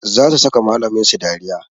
Za su saka malamin su dariya